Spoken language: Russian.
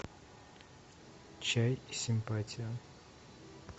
чай и симпатия